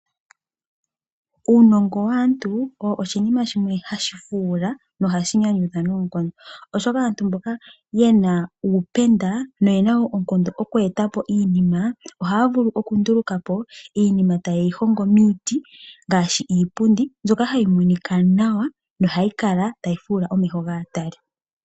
Uunongo waantu owo oshinima shimwe hashi fuula, nohashi nyanyudha noonkondo, oshoka aantu mboka ye na uupenda noye na oonkondo okweeta po iinima, ohaa vulu okunduluka po iinima taye yi hongo miiti, ngaashi iipundi mbyoka hayi monika nawa, nohayi kala tayi fuula omeho gaatali.